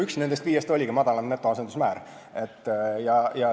Üks nendest viiest oligi madalam netoasendusmäär.